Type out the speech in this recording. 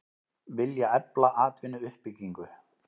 Vilja efla atvinnuuppbyggingu